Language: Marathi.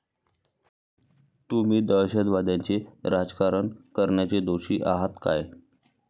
तुम्ही दहशतवाद्याचे राजकारण करण्याचे दोषी आहात काय?